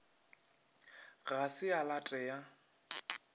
ga se a late ya